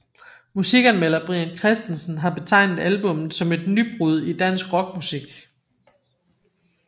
Musikanmelder Brian Christensen har betegnet albummet som et nybrud i dansk rockmusik